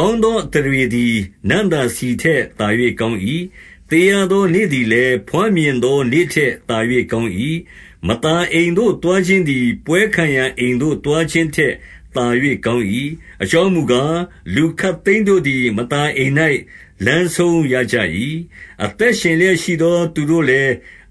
ကောင်းသောအသရေသည် နံ့သာဆီထက်သာ ၍ ကောင်း၏။ သေရသောနေ့သည်လည်း ဘွားမြင်သော နေ့ထက်သာရောကောင်း၏။ 2 မသာအိမ်သို့ သွားခြင်းသည်၊ ပွဲခံရာအိမ်သို့ သွားခြင်းထက်သာ၍ကောင်း၏။ အကြောင်းမူကား၊ လူခပ်သိမ်းတို့သည် မသာအိမ်၌ လမ်းဆုံးရကြ၏။ အသက်ရှင်လျက်ရှိသောသူတို့လည်း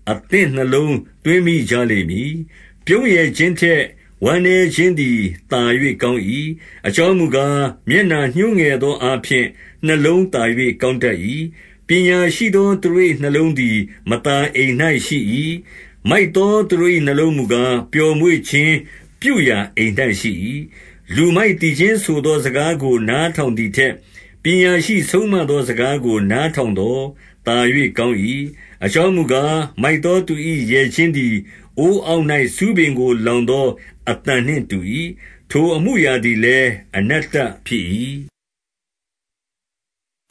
၊ အသင့်နှလုံး သွင်းမိကြလိမ့်မည်။ 3 ပြုံးရယ်ခြင်းထက် ဝမ်းနည်းခြင်းသည်သာ၍ ကောင်း၏။ အကြောင်းမူကား၊ မျက်နှာညှိုးငယ်သော အားဖြင့် နှလုံးသာ၍ကောင်းတတ်၏။ 4 ပညာရှိသောသူတို့၏နှလုံးသည် မသာအိမ်၌ ရှိ၏။ မိုက်သောသူတို့၏ နှလုံးမူကား၊ ပျော်မွေ့ခြင်းပြုရာ အိမ်၌ ရှိ၏။ 5 လူမိုက်သီချင်းဆိုသောစကားကို နားထောင် သည်ထက်၊ ပညာရှိဆုံးမသောစကားကို နားထောင်သော် သာ၍ ကောင်း၏။ 6 အကြောင်းမူကား၊ မိုက်သောသူ၏ ရယ်ခြင်း သည် အိုးအောက်၌ ဆူးပင်ကိုလောင်သောအသံနှင့် တူ၏။ ထိုအမှုအရာသည်လည်း အနတ္တဖြစ်၏။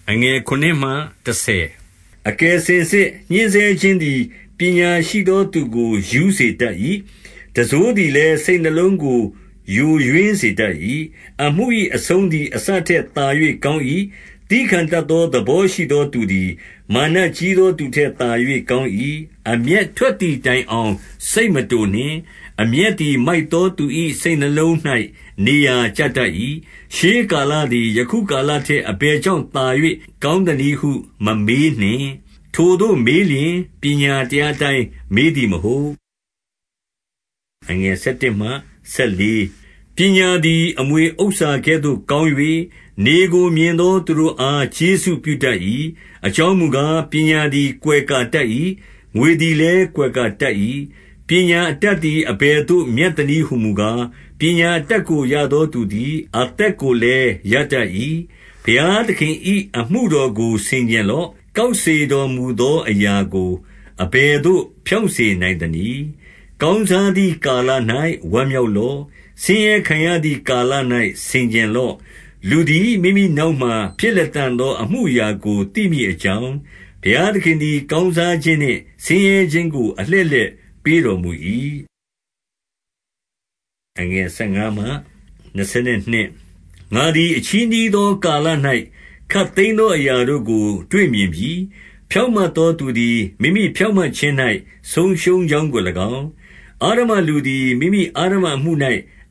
7 အကယ်စင်စစ်၊ ညှဉ်းဆဲခြင်းသည် ပညာရှိ သောသူကို ရူးစေတတ်၏။ တံစိုးသည်လည်း စိတ်နှလုံးကို ယိုယွင်းစေတတ်၏။ 8 အမှု၏အဆုံးသည် အစထက်သာ၍ကောင်း၏။ သည်းခံတတ်သော သဘောရှိသောသူသည် မာနကြီး သော သူထက်သာ၍ကောင်း၏။ 9 အမျက်ထွက်သည်တိုင်အောင် စိတ်မတိုနှင့်။ အမျက်သည် မိုက်သောသူ၏ စိတ်နှလုံး၌ နေရာကျတတ် ၏။ 10 ရှေးကာလသည် ယခုကာလထက် အလယ် ကြောင့် သာ၍ကောင်းသနည်းဟုမမေးနှင့်။ ထိုသို့မေး လျှင်၊ ပညာတရားအတိုင်းမေးသည်မဟုတ်။ 11 ပညာသည် အမွှေဥစ္စာကဲ့သို့ ကောင်း၍၊ နေကို မြင်သော သူတို့အား ကျေးဇူးပြုတတ်၏။ 12 အကြောင်းမူကား၊ ပညာသည် ကွယ်ကာတတ် ၏။ ငွေသည်လည်း ကွယ်ကာတတ်၏။ ပညာအတတ် သည် အဘယ်သို့မြတ်သနည်းဟူမူကား၊ ပညာအတတ်ကို ရသောသူသည် အသက်ကိုလည်း ရတတ်၏။ 13 ဘုရားသခင်၏ အမှုတော်ကိုဆင်ခြင်လော့။ ကောက်စေတော်မူသော အရာကိုအဘယ်သို့ ဖြောင့်စေ နိုင်သနည်း။ 14 ကောင်းစားသည်ကာလ၌ ဝမ်းမြောက်လော့။ ဆင်းရဲခံရသည်ကာလ၌ ဆင်ခြင်လော့။ လူသည် မိမိ နောက်မှာဖြစ်လတ္တံသော အမှုအရာကိုသိမည်အကြောင်း၊ ဘုရားသခင်သည် ကောင်းစားခြင်းနှင့် ဆင်းရဲခြင်းကို လည်း အလှည့်လှည့်ပေးတော်မူ၏။ 15 ငါသည် အချည်းနှီးနေသော ကာလ၌ ခပ်သိမ်း သောအရာတို့ကို တွေ့မြင်ပြီ။ ဖြောင့်မတ်သောသူသည် မိမိဖြောင့်မတ်ခြင်း၌ ဆုံးရှုံးကြောင်းကို၎င်း၊ အဓမ္မလူ သည် မိမိအဓမ္မအမှု၌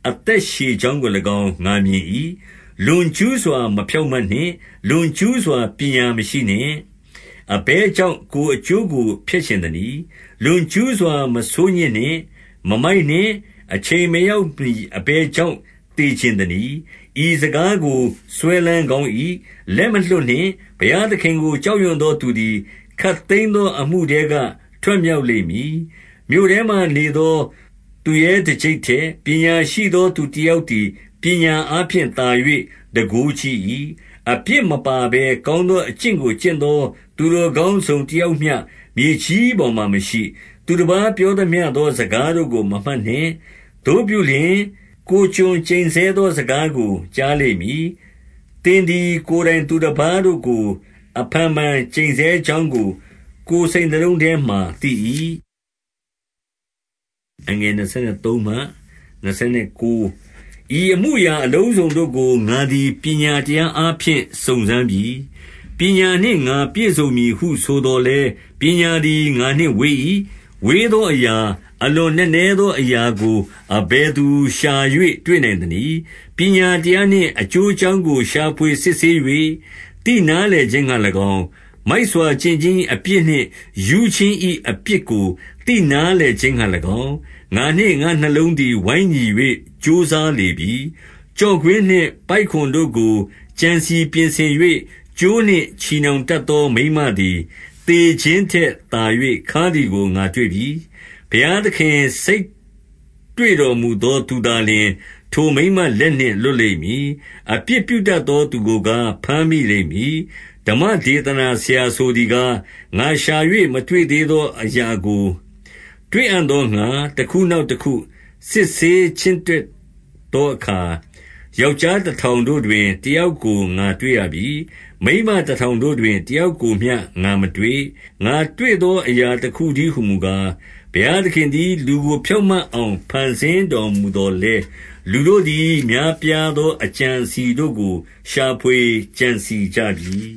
အသက်ရှည်ကြောင်းကို၎င်း ငါမြင်၏။ 16 လွန်ကျူးစွာ မဖြောင့်မတ်နှင့်။ လွန်ကျူးစွာ ပညာမရှိနှင့်။ အဘယ်ကြောင့် ကိုယ်အကျိုးကို ဖျက်ချင် သနည်း။ 17 လွန်ကျူးစွာမဆိုးညစ်နှင့်။ မမိုက်နှင့်။ အချိန် မရောက်မှီ အဘယ်ကြောင့်သေချင်သနည်း။ 18 ဤစကားကိုစွဲလန်းကောင်း၏။ လက်မလွှတ်နှင့်။ ဘုရားသခင်ကို ကြောက်ရွံ့သောသူသည် ခပ်သိမ်းသော အမှုထဲက ထွက်မြောက်လိမ့်မည်။ 19 မြို့ထဲမှာနေသောသူရဲတကျိပ်ထက် ပညာရှိ သောသူတယောက်သည် ပညာအားဖြင့်သာ၍ တန်ခိုး ကြီး၏။ 20 အပြစ်မပါဘဲ ကောင်းသောအကျင့်ကို ကျင့် သော သူတော်ကောင်းတစုံတယောက်မျှ မြေကြီးပေါ်မှာ မရှိ။ 21 သူတပါးပြောသမျှသော စကားတို့ကို မမှတ်နှင့်။ သို့ပြု လျှင်၊ ကိုယ်ကျွန်ကျိန်ဆဲသောစကားကို ကြားလိမ့်မည်။ 22 သင်သည်ကိုယ်တိုင် သူတပါးတို့ကိုအဖန်ဖန် ကျိန်ဆဲ ကြောင်းကို၊ ကိုယ်စိတ်နှလုံးထဲမှာသိ၏။ 23 ဤအမှုအရာအလုံးစုံတို့ကို ငါသည်ပညာတရား အားဖြင့် စုံစမ်းပြီ။ ပညာနှင့်ငါပြည့်စုံမည်ဟုဆိုသော် လည်း၊ ပညာသည် ငါနှင့်ဝေး၏။ 24 ဝေးသောအရာ၊ အလွန်နက်နဲသောအရာကို အဘယ်သူရှာ၍ တွေ့နိုင်သနည်း။ 25 ပညာတရားနှင့် အကျိုးအကြောင်းကို ရှာဖွေ စစ်ဆေး၍ သိနားလည်ခြင်းငှါ၎င်း၊ မိုက်စွာကျင့်ခြင်း၏ အပြစ်နှင့် ရူးခြင်း၏အပြစ်ကို သိနားလည်ခြင်းငှါ၎င်း၊ ငါနှင့်ငါ့နှလုံးသည် ဝိုင်းညီ၍ ကြိုးစားလေပြီ။ 26 ကျော့ကွင်းနှင့်ပိုက်ကွန်တို့ကို ကြံစည်ပြင်ဆင်၍ ကြိုးနှင့်ချည်နှောင်တတ်သော မိန်းမသည်၊ သေခြင်းထက် သာ၍ ခါးသည်ကို ငါတွေ့ပြီ။ ဘုရားသခင် စိတ်တွေ့ တော်မူသောသူသာလျှင်၊ ထိုမိန်းမလက်နှင့် လွတ်လိမ့် မည်။ အပြစ်ပြုတတ်သောသူကိုကား၊ ဘမ်းမိလိမ့်မည်။ 27 ဓမ္မဒေသနာဆရာ ဆိုသည်ကား၊ ငါရှာ၍ မ တွေ့သေး သောအရာကို တွေ့အံ့သောငှါ၊ တခုနောက် တခု စစ်ဆေးချင့်တွက်သောအခါ၊ 28 ယောက်ျားတထောင်တို့တွင် တယောက်ကို ငါတွေ့ပြီ။ မိန်းမတထောင်တို့တွင် တယောက်ကိုမျှ ငါမတွေ့။ 29 ငါတွေ့သောအရာ တခုတည်းဟူမူကား၊ ဘုရား သခင်သည် လူကိုဖြောင့်မတ်အောင် ဖန်ဆင်းတော်မူ သော်လည်း၊ လူတို့သည် များပြာသော အကြံအစည်တို့ကို ရှာဖွေကြံစည်ကြပြီ။